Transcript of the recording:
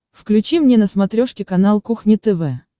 включи мне на смотрешке канал кухня тв